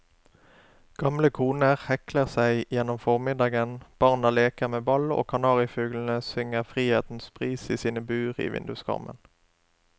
Gamle koner hekler seg gjennom formiddagen, barna leker med ball og kanarifuglene synger frihetens pris i sine bur i vinduskarmen.